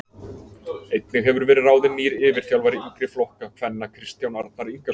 Einnig hefur verið ráðin nýr yfirþjálfari yngri flokka kvenna Kristján Arnar Ingason.